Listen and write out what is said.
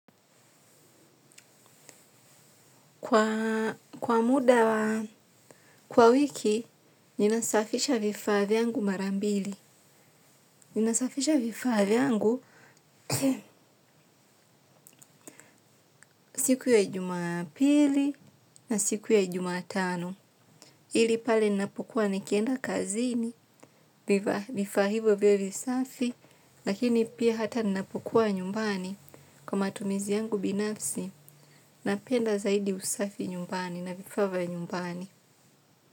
Kwa muda, wa wiki, ninasafisha vifaa vyangu mara mbili. Ninasafisha vifaa vyangu siku ya jumapili na siku ya jumatano. Hili pale ninapokua nikienda kazini, vifaa hivo vyo visafi, lakini pia hata ninapokua nyumbani kwa matumizi yangu binafsi, napenda zaidi usafi nyumbani na vifaa vya nyumbani.